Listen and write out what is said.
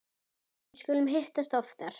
Við skulum hittast oftar